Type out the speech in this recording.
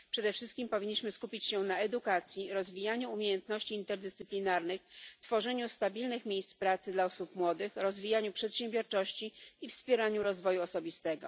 Przede wszystkim powinniśmy skupić się na edukacji, rozwijaniu umiejętności interdyscyplinarnych, tworzeniu stabilnych miejsc pracy dla osób młodych, rozwijaniu przedsiębiorczości i wspieraniu rozwoju osobistego.